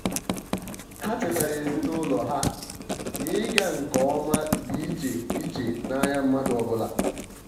ha chetara ezimụlọ ha na-ịga nke ọma dị iche iche n'anya mmadụ ọbụla.